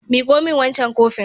Miƙo min wancan kofin.